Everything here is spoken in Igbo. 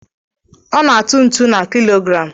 A na-atụ ntụ na kilograms.